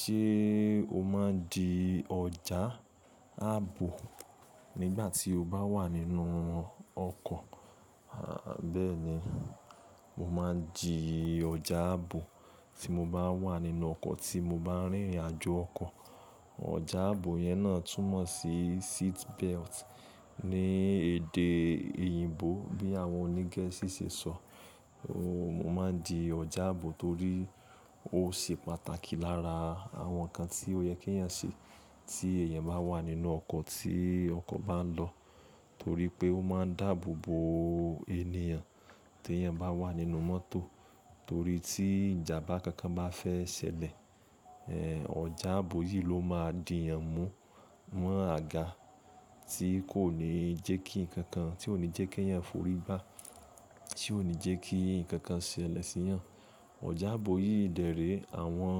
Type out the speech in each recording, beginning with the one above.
Ṣé o máa ń di ọ̀já ààbò nígbà tí o bá wà nínú ọkọ̀? A à bẹ́ẹ̀ni, mo máa ń di ọjá ààbò tí mo bá wà nínú ọkọ̀ tí mo bá ń rìnrìn-àjò ọkọ̀. Ọjá ààbò yẹn náà túmọ̀ sí seat belt ní èdè Òyìnbó bí àwọn oní Gẹ̀ẹ́sì ṣe sọ. Mo máa ń di ọjá ààbò torí ó ṣe pàtàkì lára àwọn nǹkan tí ó yẹ kí èèyàn ṣe tí èèyàn bá wà nínú ọkọ̀ tí ọkọ̀ bá ń lọ. Torí pé ó máa ń dáàbò bo ènìyàn tí èèyàn bá wà nínú mọ́tò. Torí tí ìjàmbá kankan bá fẹ́ ṣẹlẹ̀, ọjá áàbò yìí ló máa dì yàn mú mọ́ àga tí kò ní jẹ́ kí nǹkan kan, tí ò ní jẹ́ kí èèyàn forí gbá, tí ò ní jẹ́ kí nǹkan kan ṣẹlẹ̀ sí yàn. Ọjá áàbò yìí dẹ̀ rèé, àwọn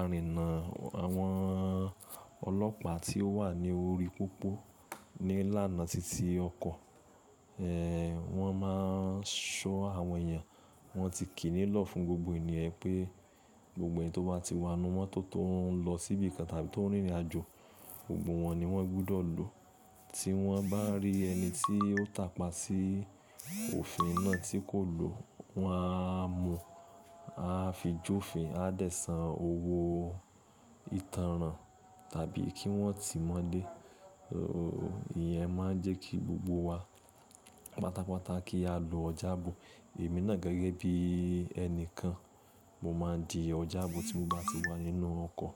arìnnà, àwọn ọlọ́pàá tí ó wà ní orí pópó nílàna titi ọkọ̀. Ẹ wọ́n máa ń ṣọ́ àwọn èèyàn, wọ́n ti kìí nílọ̀ fún gbogbo ènìyàn pé gbogbo èèyàn tó bá ti wà nínú mọ́tò tó ń lọ síbi kan tàbí tó ń rìnrìnàjò, gbogbo wọn ni wọ́n gbọdọ̀ lò. Tí wọ́n bá rí ẹni tí ó tàpa sí òfin náà tí kò lò, wọn á mú, áá fi jófin, á dẹ̀ san owó ìtanràn tàbí kí wọ́n tìí mọ́lé. Ìyẹn máa ń jẹ́ kí gbogbo wa, pátápátá kí á lo ọjá ààbò. Èmi náà gẹ́gẹ́ bí ẹni kan, mo máa ń di ọ̀já ààbò tí mo bá ti wà nínú ọkọ̀.